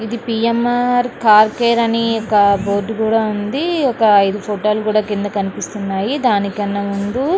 ఇది PMR. Car care అని board కూడా ఉంది ఒక ఇది ఫోటో లో కూడా కింద కనిపిస్తూన్నాయి. దానికన్నా ముందు --